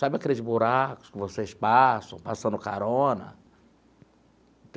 Sabe aqueles buracos que vocês passam passando carona?